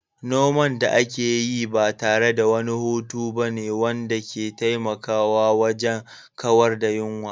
Noman da ake yi ba tare da wani hutu ba ne wanda ke taimakawa wajen kawar da yunwa.